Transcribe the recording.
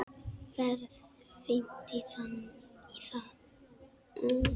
Ferð fínt í það.